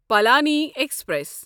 Palani express